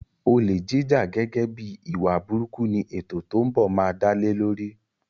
Olè jíjà gẹ́gẹ́ bíi ìwà burúkú ni ètò tó ń bọ̀ máa dálé lórí.